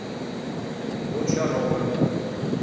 бочаровым